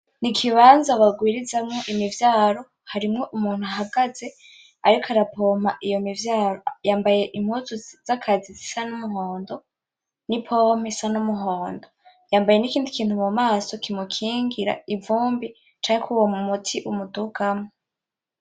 Ikibanza barwirizamwo imivyaro , harimwo umuntu ahagaze ariko arapompa iyo mivyaro , yambaye impuzu z'akazi zisa n'umuhondo n'i "pompe" isa n'umuhondo , yambaye n'ikindi kintu mumaso kimukingira ivumbi canke kuruwo muti umudugamwo .